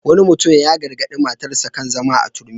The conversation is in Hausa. Wani mutum ya gargaɗi matarsa kan zama a turmi.